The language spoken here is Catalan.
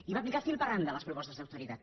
i va aplicar fil per randa les propostes d’austeritat